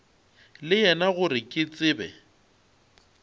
le yena gore ke tsebe